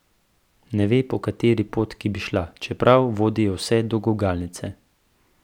Ne ve, po kateri potki bi šla, čeprav vodijo vse do gugalnice.